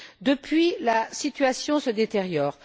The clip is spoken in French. Depuis la situation se détériore.